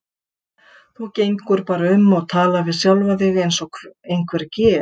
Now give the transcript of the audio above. Þú gengur bara um og talar við sjálfa þig eins og einhver geð